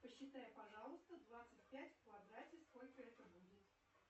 посчитай пожалуйста двадцать пять в квадрате сколько это будет